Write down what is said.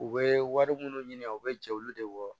U bɛ wari minnu ɲini u bɛ jɛ olu de bɔ